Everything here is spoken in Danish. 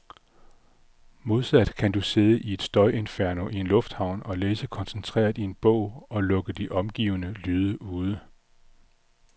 Modsat kan du sidde i et støjinferno i en lufthavn og læse koncentreret i en bog, og lukke de omgivende lyde ude.